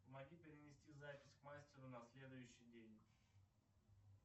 помоги перенести запись к мастеру на следующий день